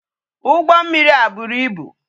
Ugbo mmiri a buru ibu